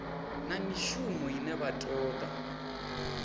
na mishumo ine vha toda